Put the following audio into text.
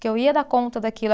Que eu ia dar conta daquilo.